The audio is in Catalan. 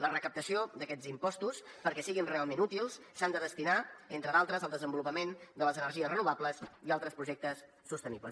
la recaptació d’aquests impostos perquè siguin realment útils s’ha de destinar entre d’altres al desenvolupament de les energies renovables i altres projectes sostenibles